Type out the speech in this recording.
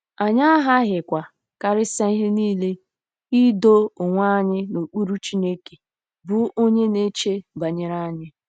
Anyị aghaghịkwa, karịsịa ihe nile, ' ido onwe anyị n'okpuru Chineke, ' bụ́ onye na-eche banyere anyị.